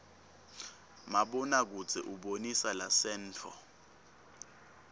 mabona kudze ubonisa lasenttfo